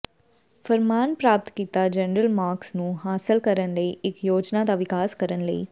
ਫਰਮਾਨ ਪ੍ਰਾਪਤ ਕੀਤਾ ਜਨਰਲ ਮਾਰਕਸ ਨੂੰ ਹਾਸਲ ਕਰਨ ਲਈ ਇੱਕ ਯੋਜਨਾ ਦਾ ਵਿਕਾਸ ਕਰਨ ਲਈ